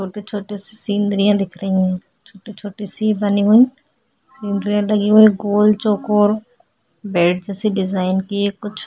छोटे-छोटे से सीनरियाँ दिख रही हैं छोटे-छोटे से बनी हुईं सीनरियाँ लगीं हुईं गोल चकोर बैट जैसे डिज़ाइन की हैं कुछ।